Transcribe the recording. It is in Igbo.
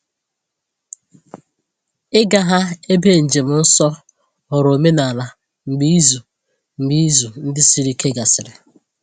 Ịga ha ebe njem nsọ ghọrọ omenala mgbe izu mgbe izu ndị siri ike gasịrị.